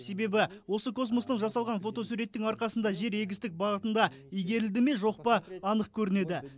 себебі осы космостың жасалған фотосуреттің арқасында жер егістік бағытында игерілді ме жоқ па анық көрінеді